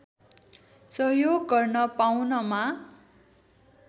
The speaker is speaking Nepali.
सहयोग गर्न पाउनमा